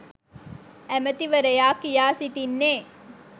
ඇමතිවරයා කියා සිටින්නේ